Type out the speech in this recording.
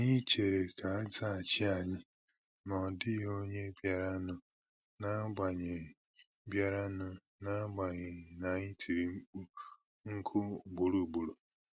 Anyị chèrè ka azaghachi ànyị, ma na ọ dịghị ònye biara nụ n'agbanyi biara nụ n'agbanyi n'anyi tiri mkpu nku ugboro ugboro.